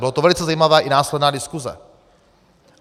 Byla to velice zajímavá - i následná - diskuze.